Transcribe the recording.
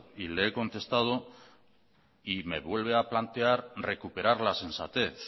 y le he contestado y me vuelve a plantear recuperar la sensatez